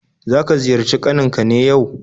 Zaka ziyarci kaninka ne yau?